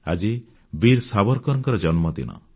ଆଜି ବୀର ସାବରକରଙ୍କ ଜନ୍ମଦିନ